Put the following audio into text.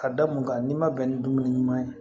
Ka da mun kan n'i ma bɛn ni dumuni ɲuman ye